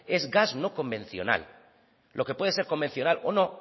es gas no convencional lo que puede ser convencional o no